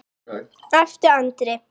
æpti Andri.